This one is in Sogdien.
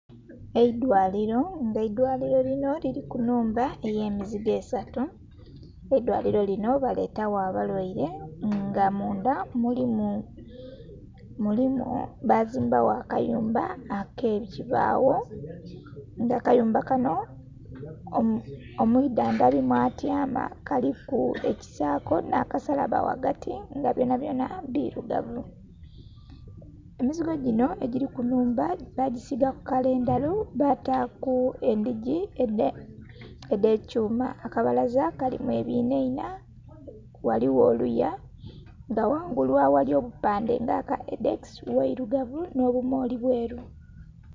Eidwaliro, nga eidwaliro lino liri ku nnhumba eyemizigo esatu, eidwaliro lino baletagho abalwaire nga mundha mulimu...bazimbagho akayumba ak'ekibagho nga akayumba kano omwidhandhabi mwatyama kaliku ekisaako n'akasalabba ghagati nga byonabyona birugavu. Emizigo gino egiri ku nnhumba bagisigaku kala endheru bataaku edhigi edh'ekyuma, akabalaza kalimu ebinhainha ghaligho oluya nga ghangulu aghali obupandhe nga aka Hedex, ghairugavu n'obumoli bweru.